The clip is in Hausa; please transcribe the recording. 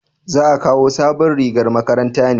za a kawo sabon rigar makaranta ne?